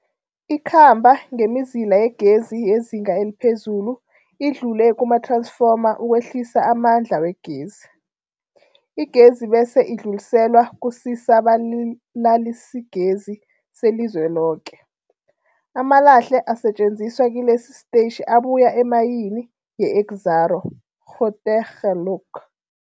Ikhamba ngemizila yegezi yezinga eliphezulu idlule kumath-ransfoma ukwehlisa amandla wegezi. Igezi bese idluliselwa kusisa-balalisigezi selizweloke. Amalahle asetjenziswa kilesi sitetjhi abuya emayini yeExxaro's Grootegeluk.